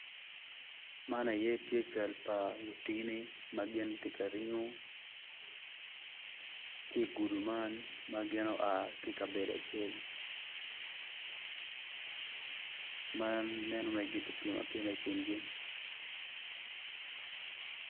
Man eni cal pa lutini ma gitye ka ringo ki i gudo man ma gin oa ki i kabedo acel ma nen wai gitye ka bino i kingi.